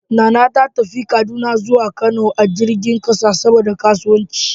Nana ta tafi Kaduna zuwa Kano a jirgin kasa dan kasuwanci.